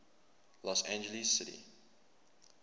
los angeles city